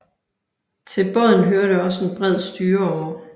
Til båden hørte også en bred styreåre